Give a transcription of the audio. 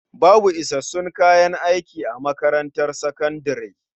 Babu isassun kayan aiki a makarantar sakandare.